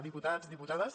diputats diputades